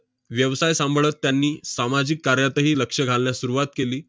व्यवसाय सांभाळत त्यांनी सामाजिक कार्यातही लक्ष घालण्यास सुरुवात केली.